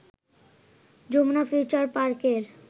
Jamuna future পার্কের